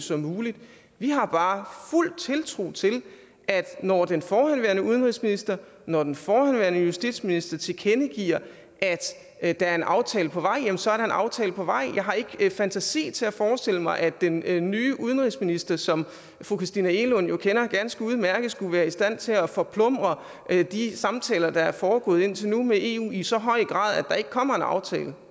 som muligt vi har bare fuld tiltro til at når den forhenværende udenrigsminister når den forhenværende justitsminister tilkendegiver at der er en aftale på vej jamen så er der en aftale på vej jeg har ikke fantasi til at forestille mig at den nye udenrigsminister som fru christina egelund jo kender ganske udmærket skulle være i stand til at forplumre de samtaler der er foregået indtil nu med eu i så høj grad at der ikke kommer en aftale